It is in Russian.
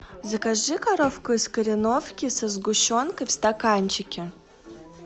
закажи коровку из кореновки со сгущенкой в стаканчике